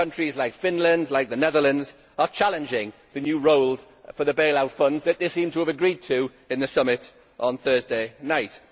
Countries like Finland and the Netherlands are challenging the new roles for the bailout funds that they seemed to have agreed to in the summit on Thursday night.